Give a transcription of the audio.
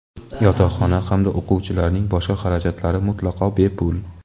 yotoqxona hamda o‘quvchilarning boshqa xarajatlari mutlaqo bepul.